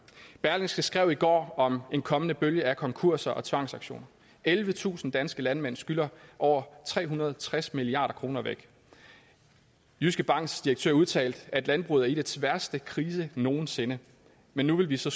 berlingske skrev i går om en kommende bølge af konkurser og tvangsauktioner ellevetusind danske landmænd skylder over tre hundrede og tres milliard kroner væk jyske banks direktør udtalte at landbruget er i dets værste krise nogen sinde men nu vil vi så